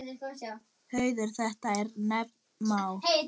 Hauður þetta nefna má.